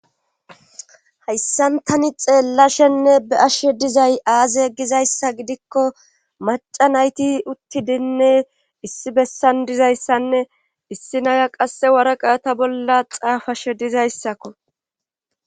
Hayssantani xeellashenne be ashshe dizay aaze egizayssa gidikko maca nayti uttidinne issi bessan dizayssanne issi naya qasse waraqayata bolla xaafashe dizayssakko.